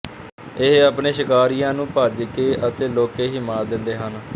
ਇਹ ਆਪਣੇ ਸ਼ਿਕਾਰੀਆਂ ਨੂੰ ਭੱਜ ਕੇ ਅਤੇ ਲੁਕ ਕੇ ਹੀ ਮਾਤ ਦਿੰਦੇ ਹਨ